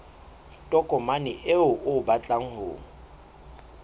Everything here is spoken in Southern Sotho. tokomane eo o batlang ho